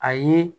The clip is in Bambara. A ye